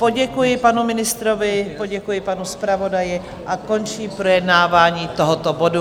Poděkuji panu ministrovi, poděkuji panu zpravodaji a končím projednávání tohoto bodu.